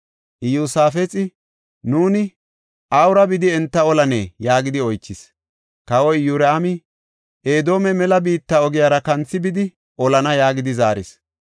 Iyosaafexi, “Nuuni awura bidi enta olanee?” yaagidi oychis. Kawa Iyoraami, “Edoome mela biitta ogiyara kanthi bidi olana” yaagidi zaaris.